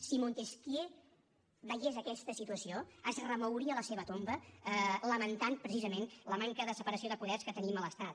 si montesquieu veiés aquesta situació es remouria a la seva tomba i lamentaria precisament la manca de separació de poders que tenim a l’estat